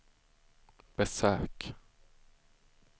besök